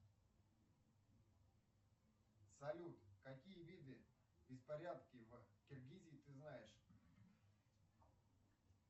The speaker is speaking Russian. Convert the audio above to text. салют какие виды беспорядков в киргизии ты знаешь